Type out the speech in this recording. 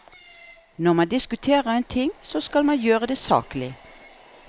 Når man diskuterer en ting, så skal man gjøre det saklig.